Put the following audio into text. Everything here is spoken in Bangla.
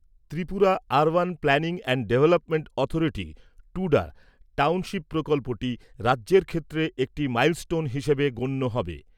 Tripura urban planning and development অথরিটির টুডা টাউনশিপ প্রকল্পটি রাজ্যের ক্ষেত্রে একটি মাইলস্টোন হিসেবে গণ্য হবে।